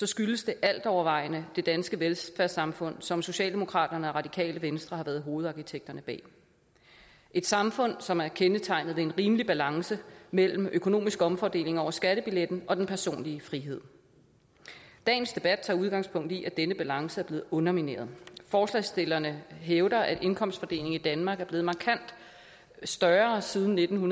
skyldes det altovervejende det danske velfærdssamfund som socialdemokraterne og radikale venstre har været hovedarkitekterne bag et samfund som er kendetegnet ved en rimelig balance mellem den økonomiske omfordeling over skattebilletten og den personlige frihed dagens debat tager udgangspunkt i at denne balance er blevet undermineret forslagsstillerne hævder at indkomstforskellen i danmark er blevet markant større siden nitten